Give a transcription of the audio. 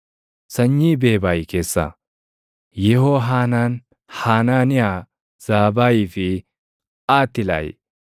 Sanyii Beebay keessaa: Yehohaanaan, Hanaaniyaa, Zaabayii fi Aatilaayi.